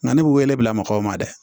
Nka ne bɛ wele bila mɔgɔw ma dɛ